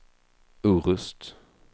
Orust